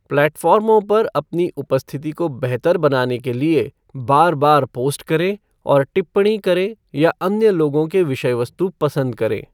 प्लेटफार्मों पर अपनी उपस्थिति को बेहतर बनाने के लिए बार बार पोस्ट करें और टिप्पणी करें या अन्य लोगों के विषय वस्तु पसंद करें।